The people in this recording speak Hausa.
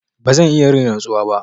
Ba zan iya yin rantsuwa ba.